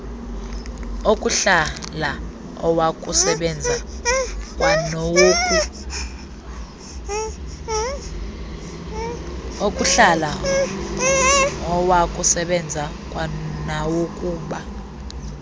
okuhlala awokusebenza kwanawokuba